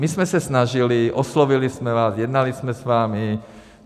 My jsme se snažili, oslovili jsme vás, jednali jsme s vámi.